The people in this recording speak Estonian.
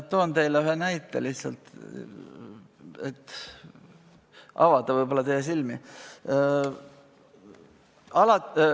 Toon teile lihtsalt ühe näite, mis võib-olla aitab teie silmi avada.